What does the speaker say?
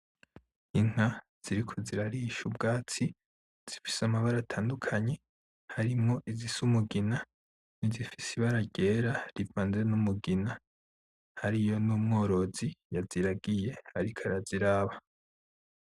Inka ziriko zirarisha ubwatsi, zifise amabara atandukanye, harimwo izisa umugina nizifise ibara ryera rivanze numugina. Hariyo n'umworozi yaziragiye ariko araziraba.